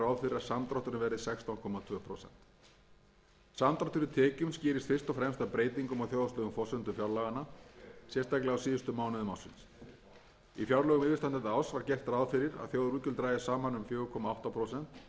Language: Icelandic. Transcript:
tvö prósent samdráttur í tekjum skýrist fyrst og fremst af breytingum á þjóðhagslegum forsendum fjárlaganna sérstaklega á síðustu mánuðum ársins í fjárlögum yfirstandandi árs var gert ráð fyrir að þjóðarútgjöld drægjust saman um fjóra komma átta prósent en samkvæmt endurskoðaðri áætlun dragast útgjöldin saman um níu komma þrjú prósent sem